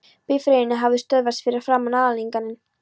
Bifreiðin hafði stöðvast fyrir framan aðalinnganginn.